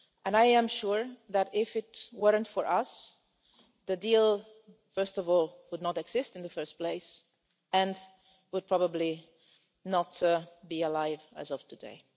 I am sure that if it weren't for us, the deal first of all would not exist in the first place, and would probably not be alive as of today.